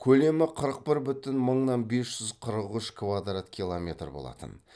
көлемі қырық бір бүтін мыңнан бес жүз қырық үш квадрат километр болатын